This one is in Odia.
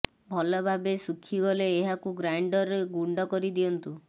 ଭଲ ଭାବେ ଶୁଖିଗଲେ ଏହାକୁ ଗ୍ରାଇଣ୍ଡରରେ ଗୁଣ୍ଡ କରି ଦିଅନ୍ତୁ